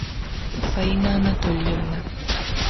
фаина анатольевна